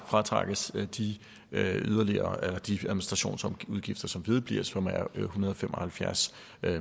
fratrækkes de administrationsudgifter som vedbliver og som er på en hundrede og fem og halvfjerds